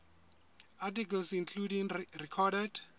articles including recorded